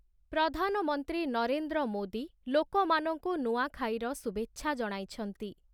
ପ୍ରଧାନମନ୍ତ୍ରୀ ନରେନ୍ଦ୍ର ମୋଦୀ, ଲୋକମାନଙ୍କୁ ନୂଆଁଖାଇର ଶୁଭେଚ୍ଛା ଜଣାଇଛନ୍ତି ।